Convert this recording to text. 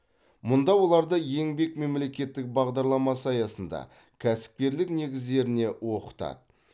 мұнда оларды еңбек мемлекеттік бағдарламасы аясында кәсіпкерлік негіздеріне оқытады